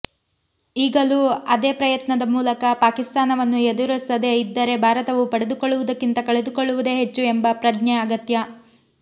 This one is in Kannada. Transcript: ಈಗಲೂ ಅದೇ ಪ್ರಯತ್ನದ ಮೂಲಕ ಪಾಕಿಸ್ತಾನವನ್ನು ಎದುರಿಸದೇ ಇದ್ದರೆ ಭಾರತವು ಪಡೆದುಕೊಳ್ಳುವುದಕ್ಕಿಂತ ಕಳೆದುಕೊಳ್ಳುವುದೇ ಹೆಚ್ಚು ಎಂಬ ಪ್ರಜ್ಞೆ ಅಗತ್ಯ